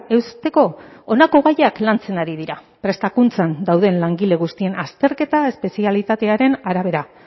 eusteko honako gaiak lantzen ari dira prestakuntzan dauden langile guztien azterketa espezialitatearen arabera